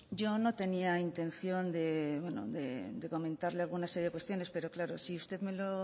yo no tenía intención de comentarle una serie de cuestiones pero claro si usted me lo